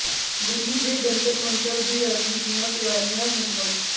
ਦਿੱਲੀ ਦੇ ਜੰਤਰ ਮੰਤਰ ਦੀ ਰੈਲੀ ਦੀਆਂ ਤਿਆਰੀਆਂ ਮੁਕੰਮਲ